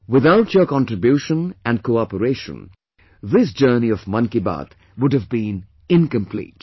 Without your contribution and cooperation, this journey of Mann Ki Baat would have been incomplete